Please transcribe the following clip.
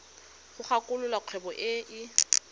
go kwalolola kgwebo e e